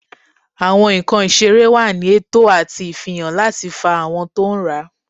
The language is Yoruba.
Awọn nkan iserẹ wa ní eto ati ifihan lati fa awọn to n rá.